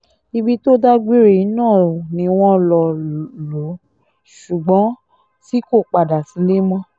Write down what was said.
ibi tó dágbére yìí náà ni wọ́n lọ lò ó ṣùgbọ́n tí kò padà sílé mọ́